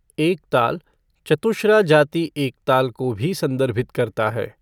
एकताल, चतुश्रा जाति एकताल को भी संदर्भित करता है।